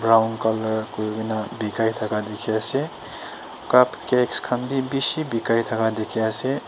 round colour kurina bikai thaka dikhi ase cup cakes khan bi bishi bikai thaka dikhi ase.